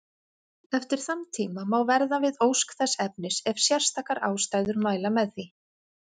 Eftir þann tíma má verða við ósk þess efnis ef sérstakar ástæður mæla með því.